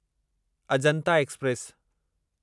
Ajanta express